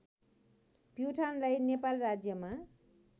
प्युठानलाई नेपाल राज्यमा